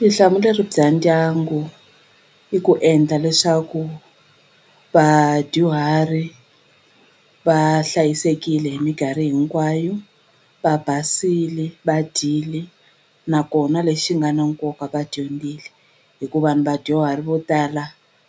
bya ndyangu i ku endla leswaku vadyuhari va hlayisekile hi mikarhi hinkwayo va basile va dyile nakona lexi nga na nkoka va dyondzile hikuva ni vadyuhari vo tala